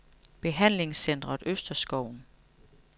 Behandlingscentret Østerskoven